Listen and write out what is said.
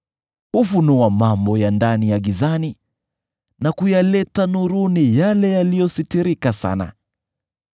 Hufunua mambo ya ndani ya gizani, na kuyaleta nuruni yale yaliyositirika sana.